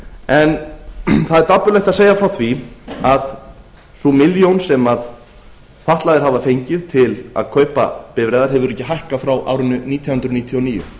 en það er dapurlegt að segja frá því að sú milljón sem fatlaðir hafa fengið til að kaupa bifreiðar hefur ekki hækkað frá árinu nítján hundruð níutíu og níu